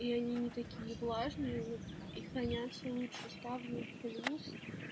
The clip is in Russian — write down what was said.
и они не такие влажные ну и хранятся лучше ставлю плюс